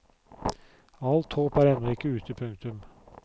Alt håp er ennå ikke ute. punktum